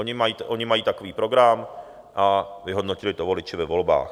Oni mají takový program a vyhodnotili to voliči ve volbách.